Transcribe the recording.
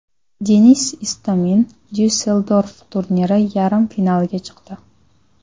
Denis Istomin Dyusseldorf turniri yarim finaliga chiqdi.